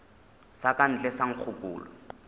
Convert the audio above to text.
sa ka ntle sa nkgokolo